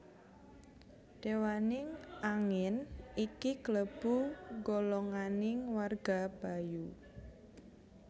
Dewaning angin iki klebu golonganing warga Bayu